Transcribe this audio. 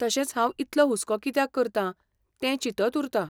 तशेंच हांव इतलो हुस्को कित्याक करतां तें चिंतत उरतां.